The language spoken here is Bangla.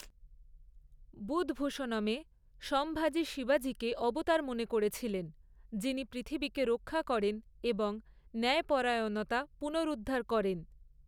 বুধভূষণমে, সম্ভাজি শিবাজীকে অবতার মনে করেছিলেন, যিনি পৃথিবীকে রক্ষা করেন এবং ন্যায়পরায়ণতা পুনরুদ্ধার করেন।